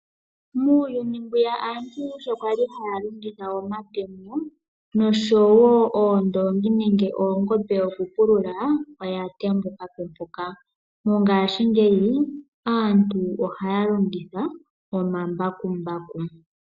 Muuyuni mbwiya sho aantu kwali haya longitha omatemo noshowo oondoongi nenge oongombe okupulula oya tembukapo mpoka. Mongaashingeyi aantu ohaya longitha omambakumbaku.